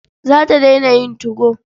Za ta daina yin 2go.